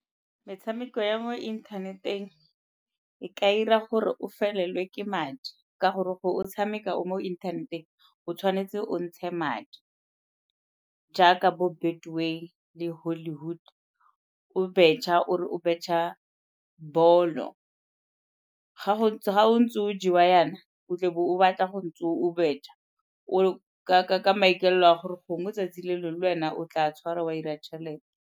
Metshameko ya mo inthaneteng e ka 'ira gore o felelwe ke madi ka gore gore o tshameka o mo inthaneteng o tshwanetse o ntshe madi jaaka bo Betway le Hollywood o betšha o re o betšha ball-o. Ga o ntse o jewa yana o tlebe o batla go ntse o betšha ka maikaelelo a gore gongwe 'tsatsi le lengwe le wena o tla tshwara wa 'ira tšhelete.